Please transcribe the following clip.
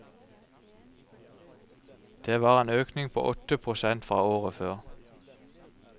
Det var en økning på åtte prosent fra året før.